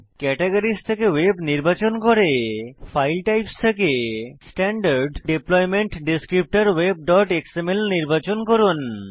categories থেকে web নির্বাচন করুন ফাইল টাইপস থেকে স্ট্যান্ডার্ড ডিপ্লয়মেন্ট Descriptorwebএক্সএমএল নির্বাচন করুন